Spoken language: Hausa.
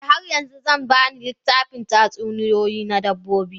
Eh, har yanzu zan ba ni littafin tatsuniyoyi na dabbobi.